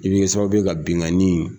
I be kɛ sababu ye ka binkanni